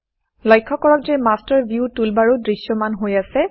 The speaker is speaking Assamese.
লক্ষ্য কৰক যে মাষ্টাৰ ভিউ মাষ্টাৰ ভিউ টুলবাৰো দৃশ্যমান হৈ আছে